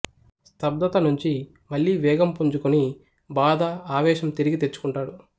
స్తబ్దత నుంచి మళ్ళీ వేగం పుంజుకుని బాధ ఆవేశం తిరిగితెచ్చుకుంటాడు